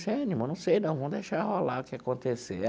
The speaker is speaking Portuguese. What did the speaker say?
Ah Nilma não sei não, vamos deixar rolar o que acontecer.